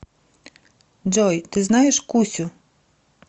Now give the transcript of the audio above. джой ты знаешь кусю